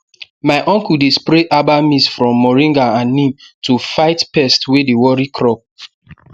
my uncle dey spray herbal mix from moringa and neem to fight pest wey dey worry crop